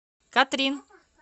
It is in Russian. катрин